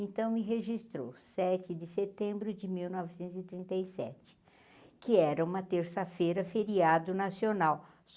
Então, ele registrou sete de setembro de mil novecentos e trinta e sete, que era uma terça-feira feriado nacional.